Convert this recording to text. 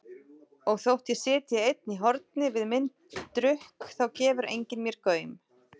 Og þótt ég sitji einn í horni við minn drukk þá gefur enginn mér gaum.